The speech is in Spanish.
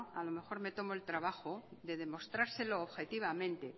a lo mejor me tomo el trabajo de demostrárselo objetivamente